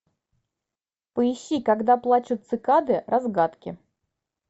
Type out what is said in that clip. поищи когда плачут цикады разгадки